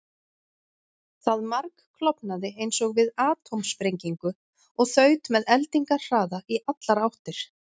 Það margklofnaði eins og við atómsprengingu og þaut með eldingarhraða í allar áttir.